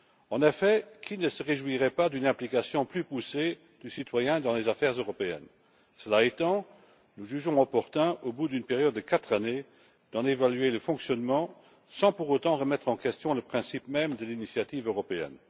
En effet, qui ne se réjouirait pas d'une implication plus poussée du citoyen dans les affaires européennes? Cela étant, nous jugeons opportun, au bout d'une période de quatre années, d'en évaluer le fonctionnement, sans pour autant remettre en question le principe même de l'initiative européenne.